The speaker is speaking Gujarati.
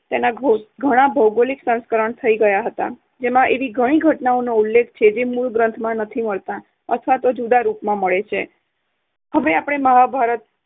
તેના ઘો~ ઘણા ભૌગોલિક સંસ્કરણ થઇ ગયા હતા જેમાં એવી ઘણી ઘટનાનો ઉલ્લેખ છે જે મૂળ ગ્રંથમાં નથી મળતા અથવા તો જુદા રૂપમાં મળે છે. હવે આપણે મહાભારત